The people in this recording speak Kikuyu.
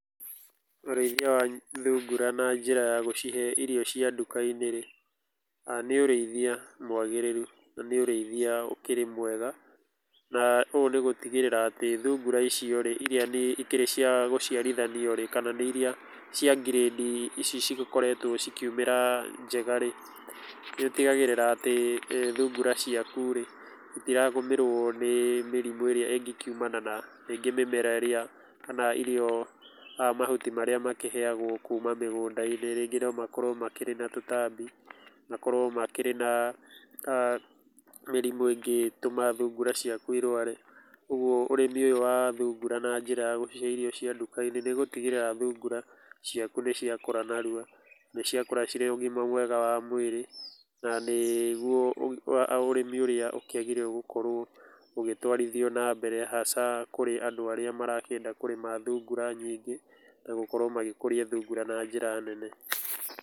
Ũrĩithia wa thungura na njĩra ya gũcihe irio cia duka-inĩ rĩ, nĩ ũrĩithia mwagĩrĩru na nĩ ũrĩithia ũkĩrĩ mwega, na ũũ nĩ gũtigĩrĩra atĩ thungura icio rĩ, iria ikĩrĩ cia gũchiarithanio rĩ kana nĩ nĩ iria cia grandi ici cikoretwo cikiumĩra njega rĩ, nĩ ũtigagĩrĩra atĩ thungura ciaku rĩ, itiragũmĩrwo nĩ mĩrimũ ĩrĩa ĩngĩkiumana na rĩngĩ mĩmera ĩrĩa kana irio, mahuti marĩa makĩheagwo kuma mĩgũnda-inĩ. Rĩngĩ no makorwo makĩrĩ na tũtambi, makorwo makĩrĩ na mĩrĩmũ ĩngĩtũma thungura ciaku irũare. Ũguo ũrĩmi ũyũ wa thungura na njĩra ya gũcihe irio cia nduka-inĩ nĩ gũtigĩrĩra, thungura ciaku nĩ cia kũra narua, nĩ ciakũra ciĩna ũgima mwega wa mwĩrĩ na nĩguo ũrĩmi ũrĩa ũkĩagĩrĩire gũkorwo ũgĩtwarithio na mbere hasa kũrĩ andũ arĩa marenda kũrĩma thungura nyingĩ na gũkorwo magĩkũria thungura na njĩra nene.